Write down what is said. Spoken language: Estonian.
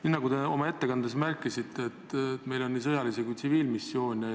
Nii nagu te oma ettekandes märkisite, meil on nii sõjalisi kui tsiviilmissioone.